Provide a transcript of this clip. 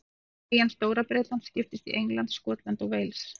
Eyjan Stóra-Bretland skiptist í England, Skotland og Wales.